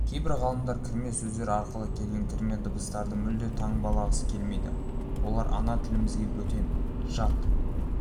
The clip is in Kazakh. кейбір ғалымдар кірме сөздер арқылы келген кірме дыбыстарды мүлде таңбалағысы келмейді олар ана тілімізге бөтен жат